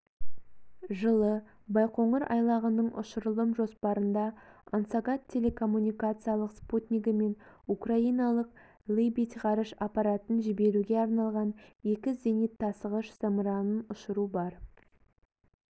жылы байқоңыр айлағының ұшырылым жоспарында ангосат телекоммуникациялық спутнигі мен украиналық лыбидь ғарыш аппаратын жіберуге арналған екі зенит тасығыш-зымыранын ұшыру бар